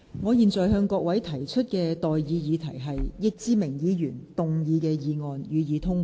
我現在向各位提出的待議議題是：易志明議員動議的議案，予以通過。